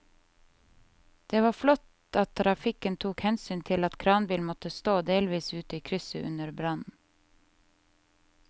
Det var flott at trafikken tok hensyn til at kranbilen måtte stå delvis ute i krysset under brannen.